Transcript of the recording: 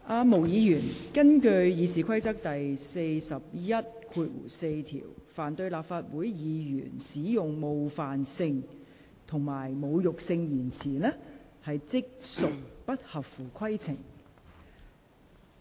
毛議員，根據《議事規則》第414條，凡對立法會議員使用冒犯性及侮辱性言詞，即屬不合乎規程。